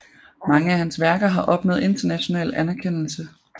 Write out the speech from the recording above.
Mange af hans værker har opnået international anerkendelse